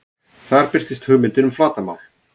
Þar birtist hugmyndin um flatarmál.